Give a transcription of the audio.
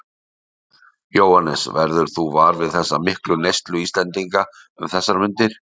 Jóhannes: Verður þú var við þessa miklu neyslu Íslendinga um þessar mundir?